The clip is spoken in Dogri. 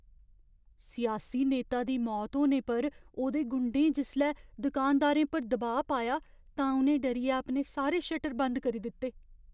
सियासी नेता दी मौत होने पर ओह्दे गुंडें जिसलै दुकानदारें पर दबाऽ पाया तां उ'नें डरियै अपने सारे शटर बंद करी दित्ते।